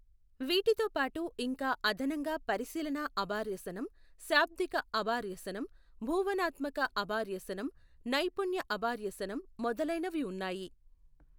వీటితో పాటు ఇంకా అదనంగా పరిశీలనా అబార్యసనం, శాబ్దిక అబార్యసనం, భూవనాత్మక అబార్యసనం, నైపుణ్య అబార్యసనం మొదలైనవి ఉన్నాయి.